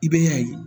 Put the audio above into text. I bɛ a ye